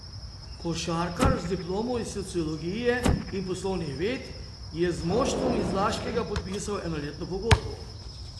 Košarkar z diplomo iz sociologije in poslovnih ved je z moštvom iz Laškega podpisal enoletno pogodbo.